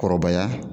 Kɔrɔbaya